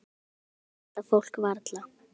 Núna sést þetta fólk varla.